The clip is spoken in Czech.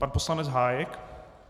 Pan poslanec Hájek.